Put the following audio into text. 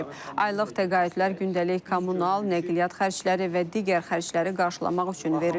Aylıq təqaüdlər gündəlik kommunal, nəqliyyat xərcləri və digər xərcləri qarşılamaq üçün verilir.